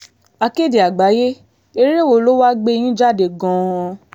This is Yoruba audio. akéde àgbáyé eré wo lo wáá gbé yín jáde gan-an